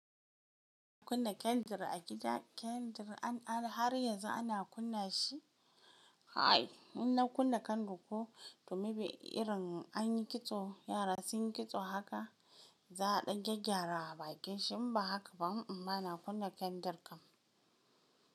Kunna kyandir a gida, kyandir. Har yanzu ana kunna shi? Kai! In na kunna kyandir ko, toh maybe irin an yi kitso, yara sun yi kitso haka za a dan gyaggyara baƙin shi in ba haka ba, ba na kunna kyandir kam.